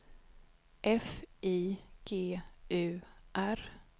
F I G U R